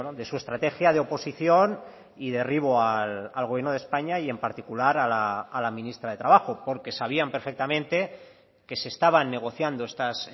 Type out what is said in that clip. de su estrategia de oposición y derribo al gobierno de españa y en particular a la ministra de trabajo porque sabían perfectamente que se estaban negociando estas